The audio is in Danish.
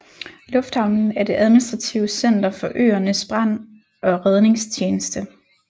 Lufthavnen er det administrative center for øernes Brand og Redningstjeneste